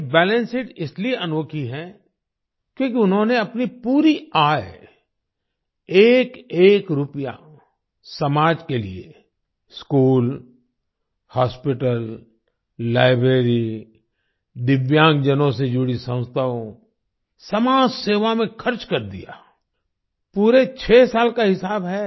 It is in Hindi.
ये बैलेंस शीट इसलिए अनोखी है क्योंकि उन्होंने अपनी पूरी आय एकएक रुपया समाज के लिए स्कूल हॉस्पिटल लाइब्रेरी दिव्यांग जनों से जुड़ी संस्थाओं समाज सेवा में खर्च कर दिया पूरे 6 साल का हिसाब है